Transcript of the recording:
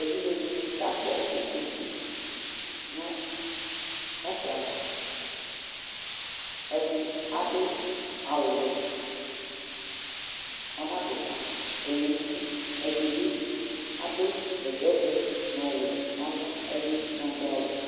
Evɩdze dinɩ kakpɔ ʊtokʊ nu pakɩ ava Ɛdɩ adʊ awʊ wɛ, onadʊ ɛlɛnʊtɩ Edibi adu bɛtɛ vɛ nɔwɛ nava, ɛdi nadʊ awʊ